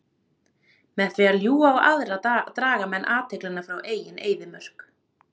Með því að ljúga á aðra draga menn athyglina frá eigin eyðimörk.